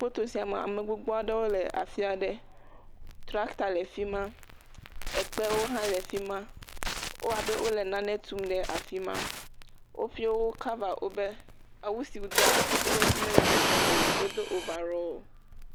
Foto sia mea ame gbogbo aɖewo le afi aɖe, tractor le afi ma, ekpewo hã le fi ma ewɔ abe wole nane tum le fi ma, woƒuio wo cover woƒe, awu si wodoa woƒe ŋuti mele dzedzem o, wodo overall.